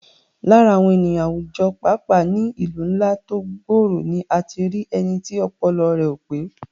Lára àwọn ènìyàn àwùjọ, pàápàá ní ìlú ńlá tó gbòòrò ni a ti rí ẹni tí ọpọlọ rẹ̀ ò pé